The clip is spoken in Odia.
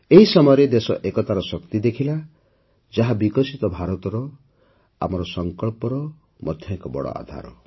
ଏହି ସମୟରେ ଦେଶ ଏକତାର ଶକ୍ତି ଦେଖିଲା ଯାହା ବିକଶିତ ଭାରତର ଆମର ସଂକଳ୍ପର ମଧ୍ୟ ଏକ ବଡ଼ ଆଧାର